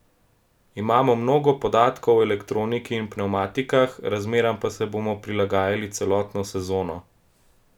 Imamo mnogo podatkov o elektroniki in pnevmatikah, razmeram pa se bomo prilagajali celotno sezono.